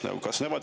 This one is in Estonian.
Teie aeg!